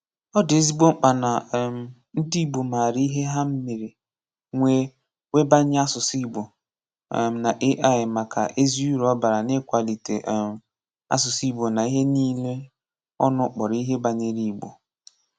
Ọ dị ezigbo mkpa na um ndị Igbo maara ihe ha mere nwee webanye asụsụ Igbo um na AI maka ézī uru ọ bara n'ịkwalite um asụsụ Igbo na ihe niile ọnụ kpọrọ ihe banyere Igbo.